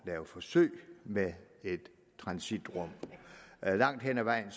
lave forsøg med et transitrum langt hen ad vejen